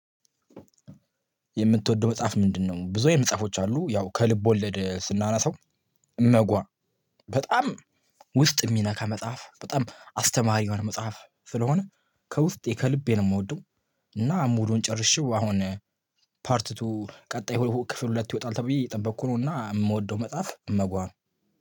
የምትወደው መጽሐፍ ምንድነው? ብዙ አይነት መጽሐፎች አሉ ያው ከልብ ወለድ ስናናሳው እመጓ በጣም ውስጥ የሚነካ መጽሐፍ በጣም አስተማሪ የሆነ መጽሐፍ ስለሆነ ከውስጤ ከልቤ ነው የምወደው እና ሙሉን ጨርሽው አሁን ፓርት ቱ ቀጣይ ክፍል ሁለት ይወጣል ተብዬ እየጠበቅኩ ነው እና የምወደው መጽሐፍ እመጓ ነው